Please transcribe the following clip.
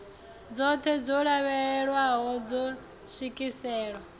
dzoṱhe dzo lavhelelwaho dzo swikelelwa